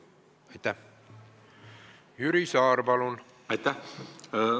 Aitäh!